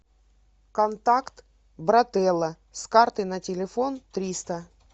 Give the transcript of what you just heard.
контакт брателло с карты на телефон триста